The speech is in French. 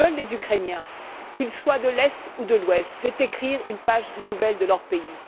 Ce que veulent les Ukrainiens, qu'ils soient de l'Est ou de l'Ouest, c'est écrire une page nouvelle de leur pays.